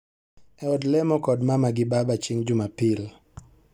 E od lemo kod mama gi baba chieng' Jumapil